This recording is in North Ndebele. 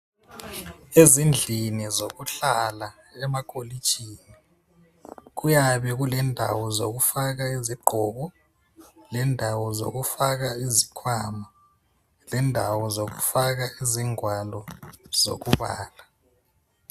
Ezindlini zokuhlala emakolitshini kuyabe kulendawo zokufaka izigqoko lendaawo zokufaka izikhwama, lendawo zokufaka izingwalo zokubala.